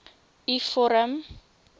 u vorm